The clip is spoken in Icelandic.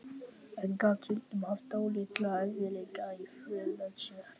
En gat stundum haft dálitla erfiðleika í för með sér.